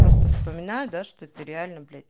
просто вспоминаю да что это реально блядь